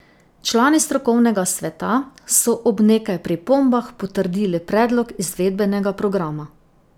Člani strokovnega sveta so ob nekaj pripombah potrdili predlog izvedbenega programa.